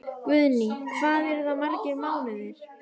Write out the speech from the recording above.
Guðný: Hvað eru það margir mánuðir?